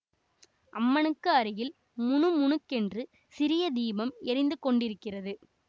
அம்மனுக்கு அருகில் முணுக் முணுக்கென்று சிறிய தீபம் எரிந்து கொண்டிருக்கிறது